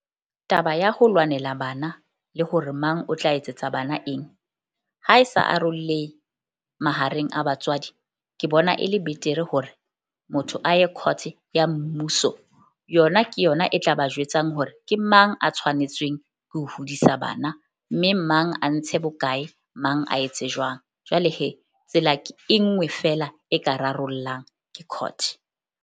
Taba ya ho lwanela bana le hore mang o tla etsetsa bana eng, ha e sa arollehe mahareng a batswadi, ke bona e le betere hore motho a ye court-e ya mmuso. Yona ke yona e tla ba jwetsang hore ke mang a tshwanetsweng ke ho hodisa bana, mme mang a ntshe bokae, mang a etse jwang. Jwale tsela e nngwe feela e ka rarollang ke court.